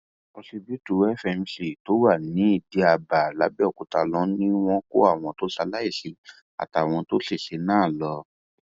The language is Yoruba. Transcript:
òsibítù fmc tó wà nìdìábá làbẹòkúta ló ní wọn kó àwọn tó ṣaláìsí àtàwọn tó ṣẹṣẹ náà lọ